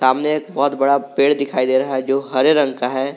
सामने एक बहोत बड़ा पेड़ दिखाई दे रहा है जो हरे रंग का है।